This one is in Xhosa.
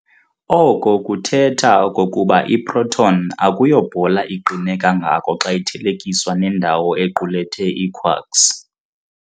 Oko kuthetha okokuba i-proton akuyo bhola iqine kangako xa ithelekiswa nendawo equlethe ii-quarks.